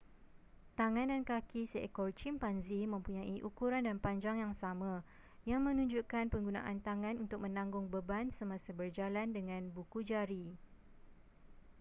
tangan dan kaki seekor cimpanzi mempunyai ukuran dan panjang yang sama yang menunjukkan penggunaan tangan untuk menanggung beban semasa berjalan dengan buku jari